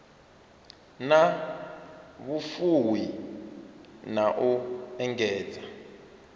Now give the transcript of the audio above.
na vhufuwi na u engedza